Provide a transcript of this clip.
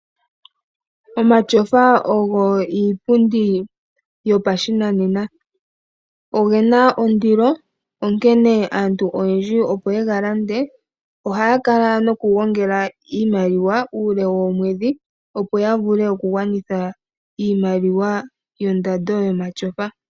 Omatyofa ogo iipundi yopashinanena. Oge na ondilo, onkene aantu oyendji opo ye ga lande ohaya kala nokugongela iimaliwa uule woomwedhi, opo ya vule okugwanitha iimaliwa yondando yomatyofa.